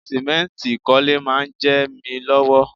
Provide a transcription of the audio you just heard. Sìmẹ́ǹtì ìkọ́lé máa ń jẹ mi lọ́wọ́